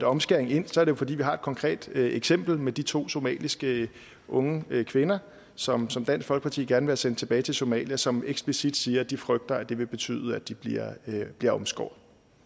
omskæring ind er det jo fordi vi har et konkret eksempel med de to somaliske unge kvinder som som dansk folkeparti gerne sendt tilbage til somalia som eksplicit siger at de frygter at det vil betyde at de bliver omskåret